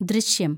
ദൃശ്യം